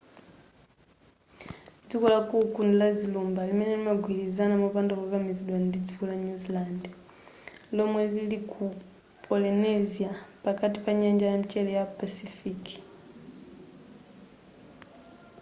dziko la cook ndi la zilumba limene limagwirizana mopanda kukamizidwa ndi dziko la new zealand lomwe lili ku polynesia pakati pa nyanja yamchere ya pacific